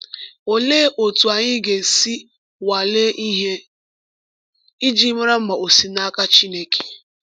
Olee otú anyị ga-esi nwalee ihe iji mara ma ò si n’aka Chineke?